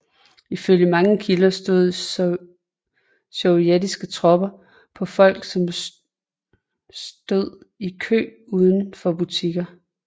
Ifølge mange kilder skød sovjetiske tropper på folk som stød i kø udenfor butikker